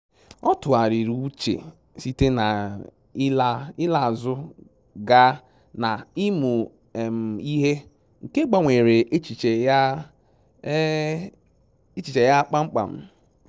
Ọ tụgharịrị uche site na ịla azụ gaa na ịmụ um ihe, nke gbanwere echiche um ya kpamkpam